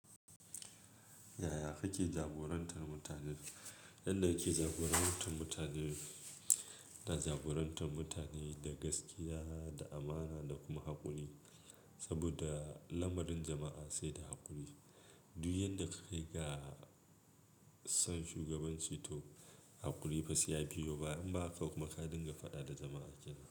Yaya kake jagorantar mutane? Yanda kake jagorantar mutane, ina jagorantar mutane da gaskiya, da amana da kuma haƙuri. Saboda lamarin jama'a sai da haƙuri. Duk yanda ka kai ga son shugabanci to haƙuri fa saiya biyo baya, in ba haka kuma ka dinga faɗa da jama'a kenan.